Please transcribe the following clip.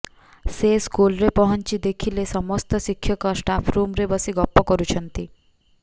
ସେ ସ୍କୁଲ୍ରେ ପହଞ୍ଚି ଦେଖିଲେ ସମସ୍ତ ଶିକ୍ଷକ ଷ୍ଟାଫ୍ରୁମ୍ରେ ବସି ଗପ କରୁଛନ୍ତି